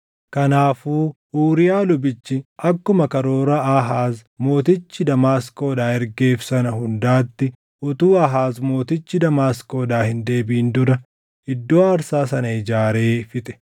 Kanaafuu Uuriyaa lubichi akkuma karoora Aahaaz mootichi Damaasqoodhaa ergeef sana hundaatti utuu Aahaaz mootichi Damaasqoodhaa hin deebiʼin dura iddoo aarsaa sana ijaaree fixe.